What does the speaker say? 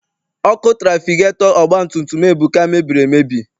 Ọkụ trafigetọ ọgbatumtum Ebuka mebiri emebi.